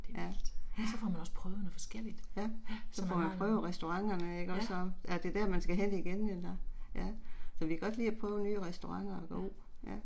Ja, ja. Ja, så får man prøvet restauranterne ikke også og er det der man skal hen igen eller, ja. Så vi kan godt lide at prøve nye restauranter, jo, ja